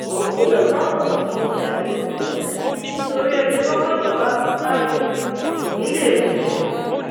ó kìlọ fáwọn ọmọkọmọ láti ronúpìwàdà nítorí ẹni tọwọ ìjọba bá tẹ kò ní í lè ròyìn tán